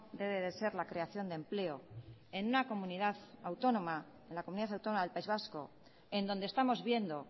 debe de ser la creación de empleo en una comunidad autónoma en la comunidad autónoma del país vasco en donde estamos viendo